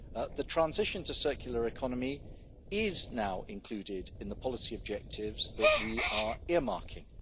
The transition to a circular economy is now included in the policy objectives that we are earmarking.